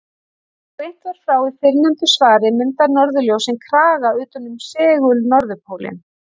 Eins og greint var frá í fyrrnefndu svari mynda norðurljósin kraga utan um segul-norðurpólinn.